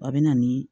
W'a bɛ na nii